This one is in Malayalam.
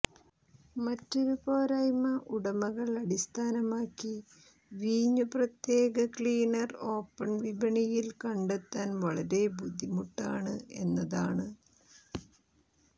മറ്റൊരു പോരായ്മ ഉടമകൾ അടിസ്ഥാനമാക്കി വീഞ്ഞു പ്രത്യേക ക്ലീനർ ഓപ്പൺ വിപണിയിൽ കണ്ടെത്താൻ വളരെ ബുദ്ധിമുട്ടാണ് എന്നതാണ്